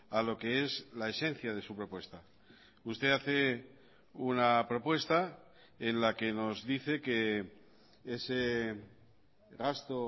a lo que es la esencia de su propuesta usted hace una propuesta en la que nos dice que ese gasto